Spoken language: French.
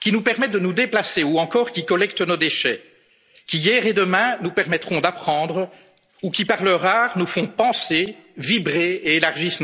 qui nous permettent de nous déplacer ou encore qui collectent nos déchets, qui, hier et demain, nous permettront d'apprendre ou qui, par leur art, nous font penser, vibrer, et élargissent